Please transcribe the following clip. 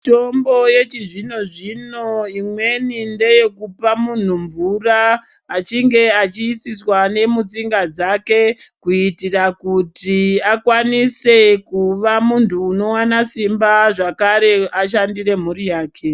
Mitombo yechizvino zvino imweni ndeyekupa muntu mvura achinge achiisiswa nemutsinga dzake kuita kuti akwanise kuva muntu unoona Simba zvekare ashandire mhuri yake.